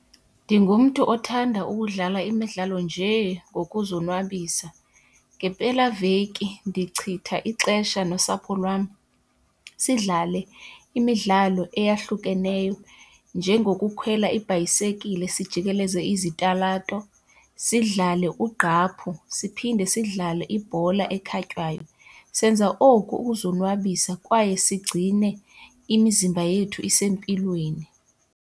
Ndingumntu othanda ukudlala imidlalo nje ngokuzonwabisa. Ngempelaveki ndichitha ixesha nosapho lwam sidlale imidlalo eyahlukeneyo njengokukhwela ibhayisekile sijikeleza izitalato, sidlale ugqaphu siphinde sidlale ibhola ekhatywayo. Senza oku ukuzonwabisa kwaye sigcine imizimba yethu isempilweni.